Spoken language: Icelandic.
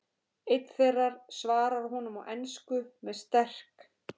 Einn þeirra svarar honum á ensku með sterk